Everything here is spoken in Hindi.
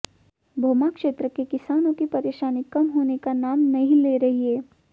भोमा क्षेत्र के किसानों की परेशानी कम होने का नाम नहीं ले रही है